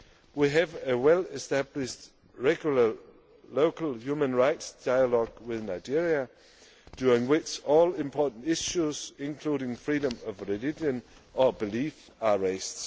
We have a well established regular local human rights dialogue with Nigeria, during which all important issues, including freedom of religion or belief, are raised.